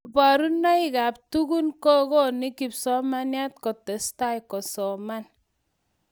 kaborunekab tukun kukoine kipsomaninik kutesta kusoman